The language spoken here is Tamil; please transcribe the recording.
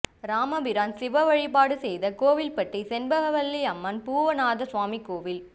ராமபிரான் சிவ வழிபாடு செய்த கோவில்பட்டி செண்பகவல்லி அம்மன் பூவனநாத சுவாமி கோயில்